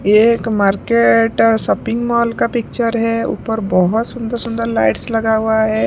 ये एक market shopping mall का पिक्चर है ऊपर बहुत सुंदर सुंदर लाइट्स लगा हुआ है।